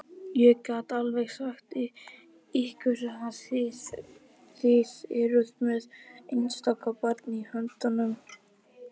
Ég get alveg sagt ykkur að þið eruð með einstakt barn í höndunum.